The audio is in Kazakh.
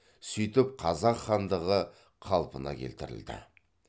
сөйтіп қазақ хандығы қалпына келтірілді